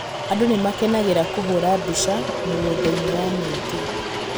Andũ nĩ makenagĩra kũhũũra mbica mũgũnda-inĩ wa mũingĩ.